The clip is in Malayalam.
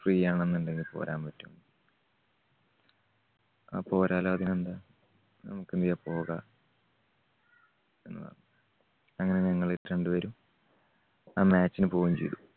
free ആണെന്നുണ്ടെങ്കിൽ പോരാൻ പറ്റുവോ? അപ്പോ വരാല്ലോ അതിനെന്താ. നമ്മക്ക് പോകാ ഒന്ന് അങ്ങനെ ഞങ്ങള് രണ്ടുപേരും ആ match ന് പോവുകയും ചെയ്‌തു.